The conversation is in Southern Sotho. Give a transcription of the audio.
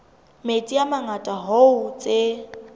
metsi a mangata hoo tse